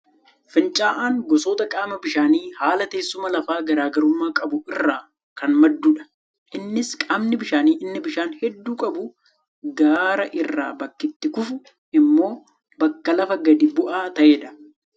Fincaa'aan gosoota qaama bishaanii haala teessuma lafaa garaagarummaa qabu irraa kan maddudha. Innis qaamni bishaanii inni bishaan hedduu qabu gaara irraa bakki itti kufu immoo bakka lafa gadi bu'aa ta'edha.